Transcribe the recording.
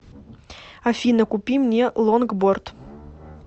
афина купи мне лонгборд